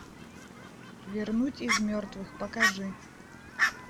вернуть из мертвых покажи